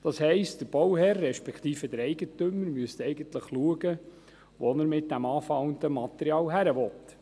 Der Bauherr, respektive der Eigentümer, müsste eigentlich schauen, wo er mit dem angefallenen Material hin will.